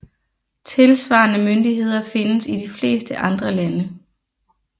Tilsvarende myndigheder findes i de fleste andre lande